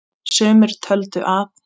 Sumir töldu að